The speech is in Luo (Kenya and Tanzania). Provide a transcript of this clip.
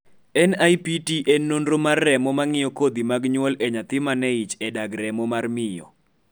NIPT en nonro mar remo ma ng'iyo kodhu mag nyuol e nyathi man en ich e dag remo mar miyo